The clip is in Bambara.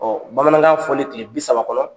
Ɔ bamanankan fɔli tile bi saba kɔnɔ